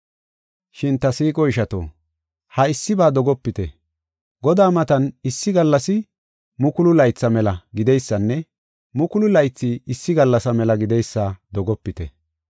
Shin ta siiqo ishato, ha issiba dogopite. Godaa matan issi gallasi mukulu laytha mela gideysanne mukulu laythi issi gallasa mela gideysa dogopite.